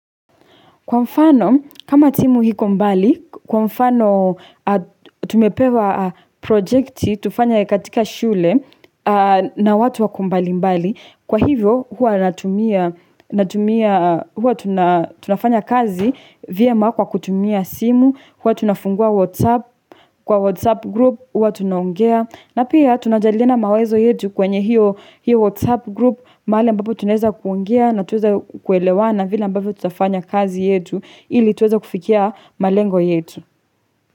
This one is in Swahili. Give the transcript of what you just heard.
Kwa mfano, kama timu iko mbali, kwa mfano tumepewa projekti tufanye katika shule na watu wako mbali mbali, kwa hivyo huwa tunafanya kazi vyema kwa kutumia simu, huwa tunafungua WhatsApp, kwa WhatsApp group huwa tunaongea. Na pia tunajadiliana mawazo yetu kwenye hiyo WhatsApp group mahali ambapo tuneza kuongea natuweze kuelewana vile ambavyo tutafanya kazi yetu ili tuweze kufikia malengo yetu.